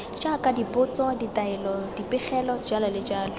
jaaka dipotso ditaelo dipegelo jj